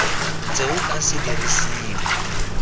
ntse o ka se dirisiwe